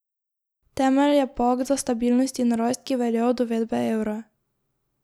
Temelj je pakt za stabilnost in rast, ki velja od uvedbe evra.